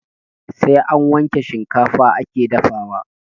Sai an wanke shikafa ake dafawa